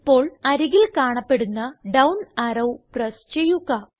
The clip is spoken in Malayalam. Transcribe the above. ഇപ്പോൾ അരികിൽ കാണപ്പെടുന്ന ഡൌൺ അറോ പ്രസ് ചെയ്യുക